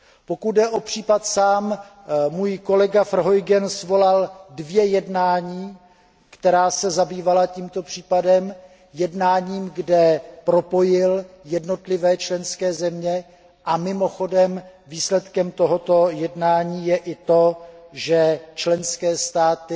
Pokud jde o případ samotný, můj kolega Verheugen svolal dvě jednání, která se zabývala tímto případem, jednání, kde propojil jednotlivé členské země, a mimochodem výsledkem tohoto jednání je i to, že členské státy